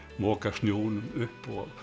moka snjónum upp og